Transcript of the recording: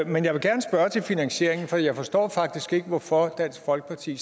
men jeg vil gerne spørge til finansieringen for jeg forstår faktisk ikke hvorfor dansk folkeparti